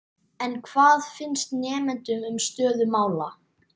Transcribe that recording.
En hvað finnst nemendum um stöðu mála?